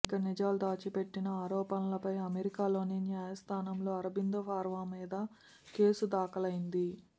ఇక నిజాలు దాచిపెట్టిన ఆరోపణలపై అమెరికాలోని న్యాయస్థానంలో అరబిందో ఫార్మా మీద కేసు దాఖలైంది